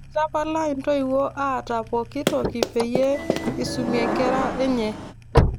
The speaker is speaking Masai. Itapala intoiwuo aata pooki toki peyie eisuminkera enye